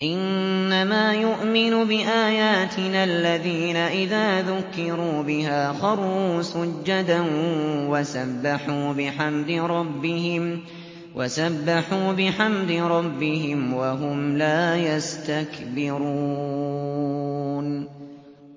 إِنَّمَا يُؤْمِنُ بِآيَاتِنَا الَّذِينَ إِذَا ذُكِّرُوا بِهَا خَرُّوا سُجَّدًا وَسَبَّحُوا بِحَمْدِ رَبِّهِمْ وَهُمْ لَا يَسْتَكْبِرُونَ ۩